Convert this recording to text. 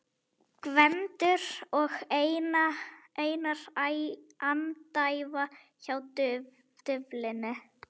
Gvendur og Einar andæfa hjá duflinu.